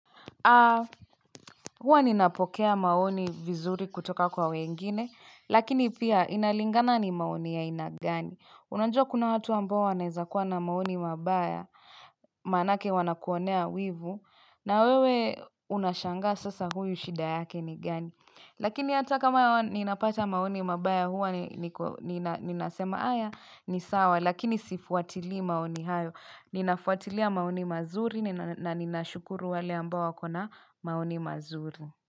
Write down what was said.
Ah, huwa ninapokea maoni vizuri kutoka kwa wengine, lakini pia inalingana ni maoni ya aina gani. Unajua kuna watu ambao wanaweza kuwa na maoni mabaya, maanake wanakuonea wivu, na wewe unashangaa sasa huyu shida yake ni gani. Lakini hata kama ninapata maoni mabaya huwa ninasema haya ni sawa lakini sifuatili maoni hayo. Ninafuatilia maoni mazuri na ninashukuru wale ambao wako na maoni mazuri.